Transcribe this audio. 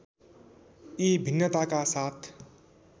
यी भिन्नताका साथ